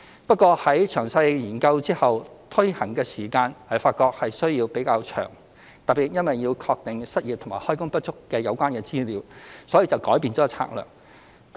不過在詳細研究後，發覺推行的時間需要較長，特別因為要確定失業及開工不足的有關資料，所以就改變策略。